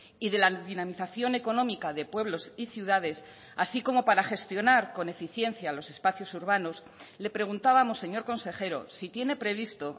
y de la dinamización económica de pueblos y ciudades así como para gestionar con eficiencia los espacios urbanos le preguntábamos señor consejero si tiene previsto